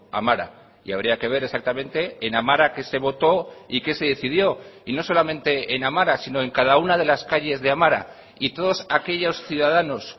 amara y habría que ver exactamente en amara qué se votó y qué se decidió y no solamente en amara sino en cada una de las calles de amara y todos aquellos ciudadanos